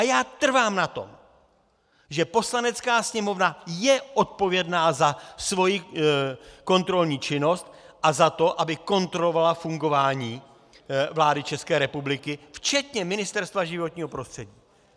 A já trvám na tom, že Poslanecká sněmovna je odpovědná za svoji kontrolní činnosti a za to, aby kontrolovala fungování vlády České republiky včetně Ministerstva životního prostředí.